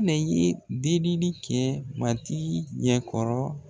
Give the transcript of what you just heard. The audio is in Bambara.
delili kɛ matigi ɲɛkɔrɔ.